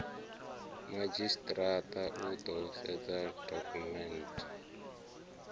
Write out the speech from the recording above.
madzhisitirata u ḓo sedza dokhumenthe